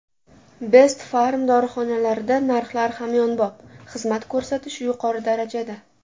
Best Pharm dorixonalarida narxlar hamyonbop, xizmat ko‘rsatish yuqori darajada!